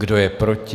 Kdo je proti?